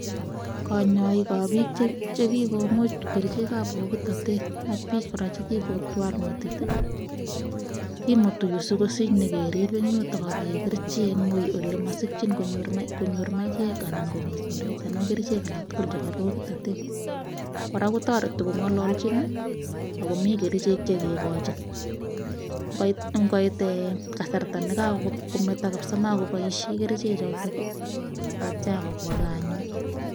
konyoik ab bik chekikomuch kerichek ab bokitotet. Ak bik kora chekikotwal metit, kimutu yu sikosich nyon kerib en yuton ak kegerchi en ui, ele mosikyiin konyoor maiyej anan ko kerichek alak tuguk cheboebokitoteet. Kora kotoretii kongololchin akomi kerichek che kikoin. Ingoit kasarta nemokoboishien kerichek chotok ketyai kobwa gaa anyun.